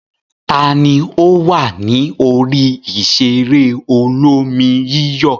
Ta ni ó wà ní orí ìṣeré olómi-yíyọ̀?